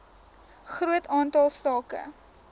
groot aantal sake